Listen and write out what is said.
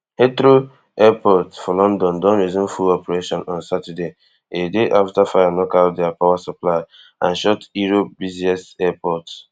heathrow airport for london don resume full operation on saturday a day afta fire knock out dia power supply and shut europe busiest airport